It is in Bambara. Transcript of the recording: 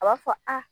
A b'a fɔ a